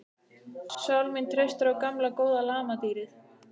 Sál mín treystir á gamla góða lamadýrið.